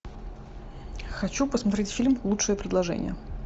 хочу посмотреть фильм лучшее предложение